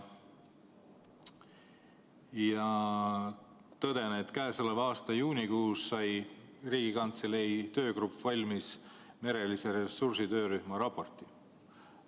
Ja tõden, et käesoleva aasta juunikuus sai Riigikantselei töögrupp valmis merelise ressursi töörühma raporti.